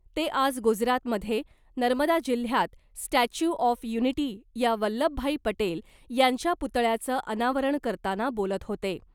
ते आज गुजरातमधे नर्मदा जिल्ह्यात , स्टॅच्यू ऑफ युनिटी , या वल्लभभाई पटेल यांच्या पुतळ्याचं अनावरण करताना बोलत होते .